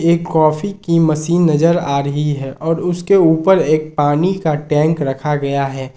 एक कॉफी की मशीन नजर आ रही है और उसके ऊपर एक पानी का टैंक रखा गया है।